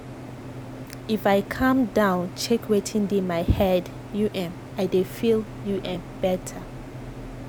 if i calm down check wetin dey my head u m i dey feel u m better.